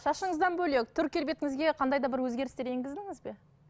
шашыңыздан бөлек түр келбетіңізге қандай да бір өзгерістер енгіздіңіз бе